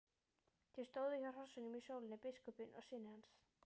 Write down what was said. Þeir stóðu hjá hrossunum í sólinni, biskupinn og synir hans.